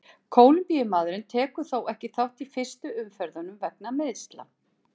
Kólumbíumaðurinn tekur þó ekki þátt í fyrstu umferðunum vegna meiðsla.